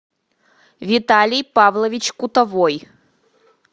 виталий павлович кутовой